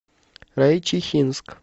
райчихинск